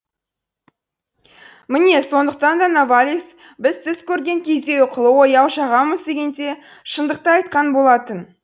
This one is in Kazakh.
міне сондықтан да новалис біз түс көрген кезде ұйқылы ояу жағамыз дегенде шындықты айтқан болатын